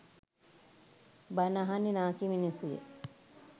බණ අහන්නෙ නාකි මිනිස්සුය